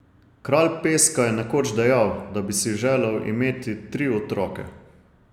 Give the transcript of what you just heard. Kralj peska je nekoč dejal, da bi si želel imeti tri otroke.